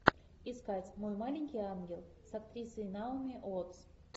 искать мой маленький ангел с актрисой наоми уоттс